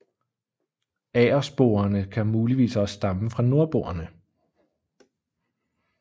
Agersporene kan muligvis også stamme fra nordboerne